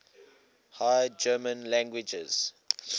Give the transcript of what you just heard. high german languages